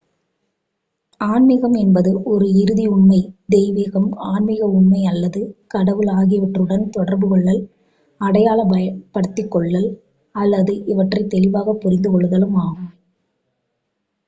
ஆன்மீகம் என்பது ஒரு இறுதி உண்மை தெய்வீகம் ஆன்மீக உண்மை அல்லது கடவுள் ஆகியவற்றுடன் தொடர்பு கொள்ளல் அடையாளப் படுத்திக்கொள்ளல் அல்லது இவற்றை தெளிவாகப் புரித்துக்கொள்ளுதலாகும்